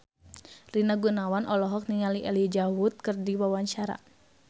Rina Gunawan olohok ningali Elijah Wood keur diwawancara